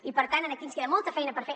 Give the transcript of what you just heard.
i per tant aquí ens queda molta feina per fer